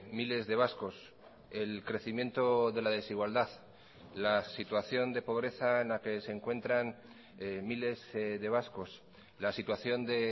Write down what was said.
miles de vascos el crecimiento de la desigualdad la situación de pobreza en la que se encuentran miles de vascos la situación de